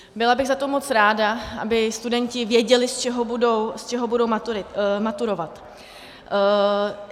Byla bych za to moc ráda, aby studenti věděli, z čeho budou maturovat.